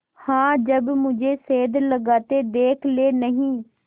हाँ जब मुझे सेंध लगाते देख लेनहीं